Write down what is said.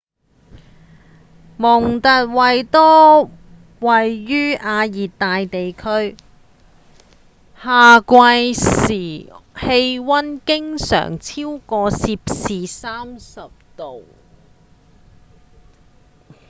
蒙特維多位於亞熱帶地區夏季時氣溫經常超過攝氏30度